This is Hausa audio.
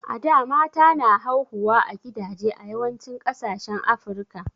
a da mata na hauhuwa a gidaje a yawancin kasashen africa